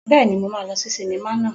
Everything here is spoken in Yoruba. Bẹ́ẹ̀ni, mo máa lọ sí sinimá naa